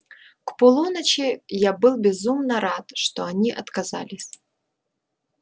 к полуночи я был безумно рад что они отказались